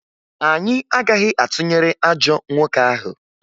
Anyị agaghị atụnyere ajọ nwoke ahụ